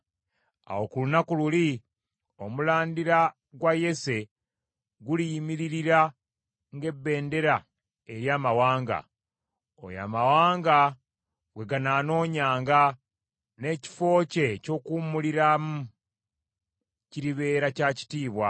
Awo ku lunaku luli, muzzukulu wa Yese aliyimirira ng’ebendera eri amawanga. Oyo amawanga gwe ganaanoonyanga, n’ekifo kye eky’okuwummuliramu, kiribeera kya kitiibwa.